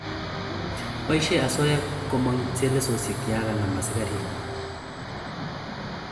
Poisheen osoya komong� chelesoosyeek yon kanam asikarik